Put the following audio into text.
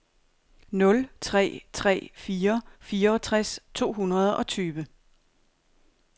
nul tre tre fire fireogtres to hundrede og tyve